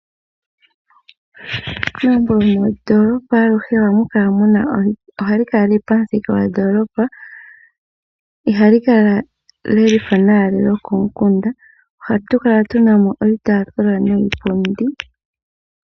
Egumbo lyomondoolopa aluhe ohali kala lili pomuthika gondoolopa . Ihalikala lya faathana naandi lyikomukunda . Ohatu kala tuna mo iitaafula niipundi.